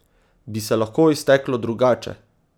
Bi se lahko izteklo drugače?